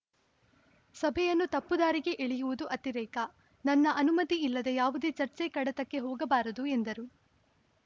ಸಭೆಯನ್ನು ತಪ್ಪು ದಾರಿಗೆ ಎಳೆಯುವುದು ಅತಿರೇಕ ನನ್ನ ಅನುಮತಿ ಇಲ್ಲದೆ ಯಾವುದೇ ಚರ್ಚೆ ಕಡತಕ್ಕೆ ಹೋಗಬಾರದು ಎಂದರು